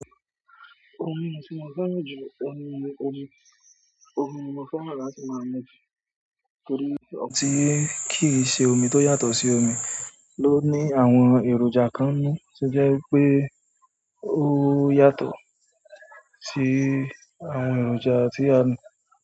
Omi ti mo fẹ́ràn ju? Omi mo fẹ́ràn láti máa mójú torí ọ̀pọ̀ ti kìí ṣe omi tó yàtọ̀ sí omi ló ní àwọn èròjà kan ni tí jẹ́ pé ó yàtọ̀ sí àwọn èròjà tí a mọ̀.